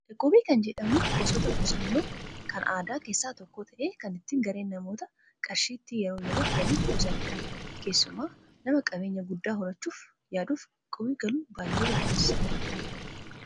Iqqubii kan jedhamu gosoota qusannoo kan aadaa keessaa tokko ta'ee kan itti gareen namootaa qarshii itti yeroo yeroon waliif buusanidha. Keessumaa nama qabeenya guddaa horachuuf yaaduuf iqqubii galuun baay'ee barbaachisaadha.